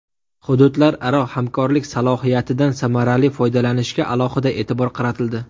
Hududlararo hamkorlik salohiyatidan samarali foydalanishga alohida e’tibor qaratildi.